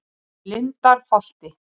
Lindarholti